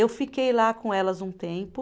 Eu fiquei lá com elas um tempo,